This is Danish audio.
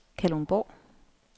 Kalundborg